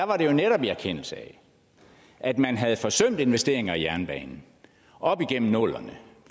var det jo netop i erkendelse af at man havde forsømt investeringer i jernbanen op igennem nullerne